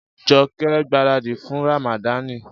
Jọkẹ́ ń gbaràdì fún Ràmàdani.